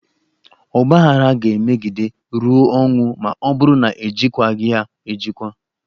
Ọgbaaghara ga-emegide ruo ọnwụ ma ọ bụrụ na-ejikwaghị ya ejikwa.